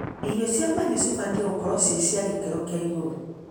Irio cia mahiũ nĩcibatie gũkorwo ciĩ cia gĩkĩro kia igũrũ.